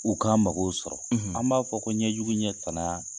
U ka mɔgɔw sɔrɔ an b'a fɔ ko ɲɛjugu ɲɛ tanna.